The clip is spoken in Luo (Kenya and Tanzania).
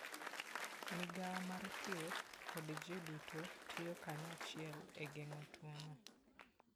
Migawo mar thieth kod ji duto tiyo kanyachiel e geng'o tuwono.